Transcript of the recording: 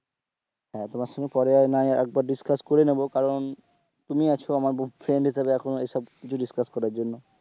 হ্যাঁ, তোমার সঙ্গে পরে না হয় আরেক বার discuss করে নেবো কারণ তুমি আছো আমার বন্ধু friend হিসেবে এখন ওই সব কিছু discuss করার জন্য,